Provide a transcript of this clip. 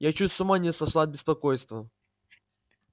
я чуть с ума не сошла от беспокойства